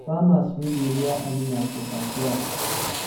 farmers wey dey rear animal for back yard